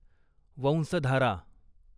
Vansadhara